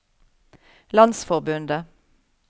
landsforbundet